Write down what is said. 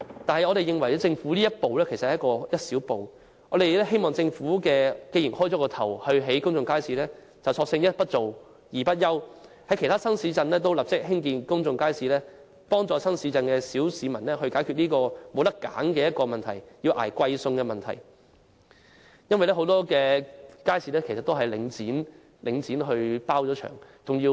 但是，我們認為政府這一步只是一小步，既然已開始興建公眾街市，便應索性一不做、二不休，立即在其他新市鎮興建公眾街市，幫助新市鎮的小市民解決他們沒有選擇而要捱貴餸的問題，因為很多街市其實由領展承包或外判。